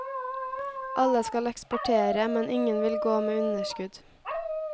Alle skal eksportere, men ingen vil gå med underskudd.